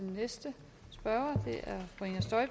vindersag